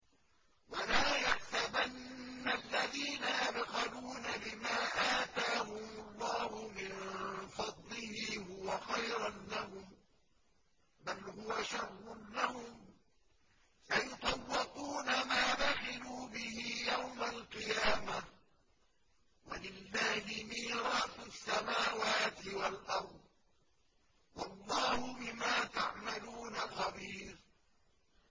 وَلَا يَحْسَبَنَّ الَّذِينَ يَبْخَلُونَ بِمَا آتَاهُمُ اللَّهُ مِن فَضْلِهِ هُوَ خَيْرًا لَّهُم ۖ بَلْ هُوَ شَرٌّ لَّهُمْ ۖ سَيُطَوَّقُونَ مَا بَخِلُوا بِهِ يَوْمَ الْقِيَامَةِ ۗ وَلِلَّهِ مِيرَاثُ السَّمَاوَاتِ وَالْأَرْضِ ۗ وَاللَّهُ بِمَا تَعْمَلُونَ خَبِيرٌ